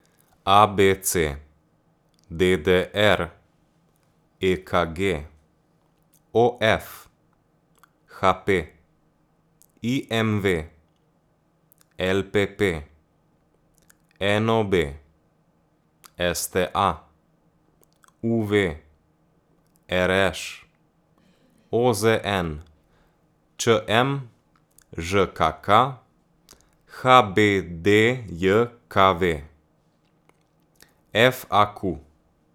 A B C; D D R; E K G; O F; H P; I M V; L P P; N O B; S T A; U V; R Š; O Z N; Č M; Ž K K; H B D J K V; F A Q.